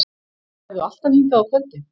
Ferðu alltaf hingað á kvöldin?